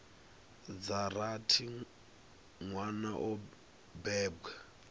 dza rathi nwana o bebwa